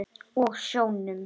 Og sjónum.